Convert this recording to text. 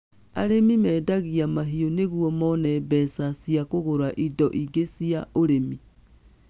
Arĩmi mendagia mahiũ nĩguo mone mbeca cia kũgũra indo ingĩ cia ũremi.